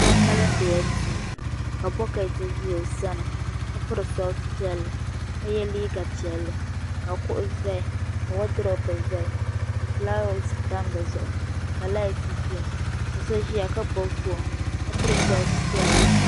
So mindi la duu ka boɣati ʒɛ o sani ka piri soksi piɛlli ka ye liiga piɛlli ka kuɣu zaya ka wodupu zaya ka filaawaasi tam dizuɣu ka laati ʒɛya ka so ʒia ka gbibi bolli ka piri soksi piɛlli.